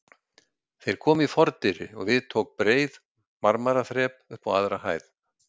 Þeir komu í fordyri og við tóku breið marmaraþrep upp á aðra hæð.